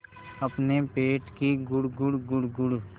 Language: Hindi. अपने पेट की गुड़गुड़ गुड़गुड़